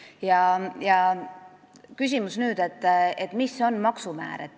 Ja nüüd küsimus, mis on maksumäär.